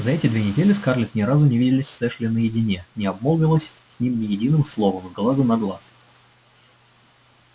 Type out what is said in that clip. за эти две недели скарлетт ни разу не виделась с эшли наедине не обмолвилась с ним ни единым словом с глазу на глаз